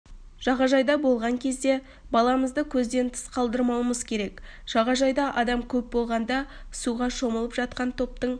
жағажайда болған кезде баламызды көзден тыс қалтырмауымыз керек жағажайда адам көп болғанда суға шомылып жатқан топтың